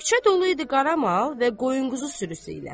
Küçə dolu idi qaramal və qoyunquzu sürüsü ilə.